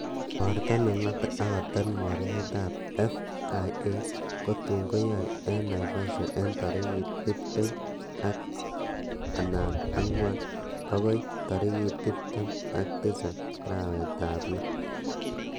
Igorto nengote ak kotet mornetab FIA, kotun keyoe en Naivasha en tarigit tibtem an angwan bokoi torigit tibtem ak tisap arawetab loo.